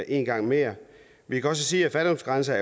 en gang mere men kan sige at fattigdomsgrænser